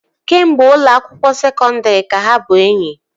kemgbe ụlọ akwụkwọ sekondri ka ha bụ enyi